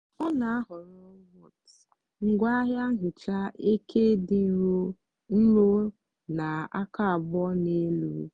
ọ na-ahọrọ ngwaahịa nhicha eke dị nro nro na aka abụọ na elu.